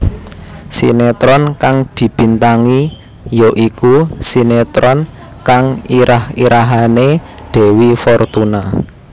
Sinetron kang dibintangi ya iku sinetron kang irah irahané Dewi Fortuna